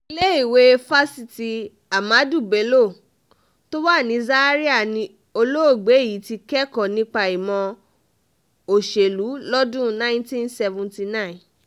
iléèwé fáṣítì ahmadu bello um tó wà ní zaria ni olóògbé um yìí ti kẹ́kọ̀ọ́ nípa ìmọ̀ òṣèlú lọ́dún 1979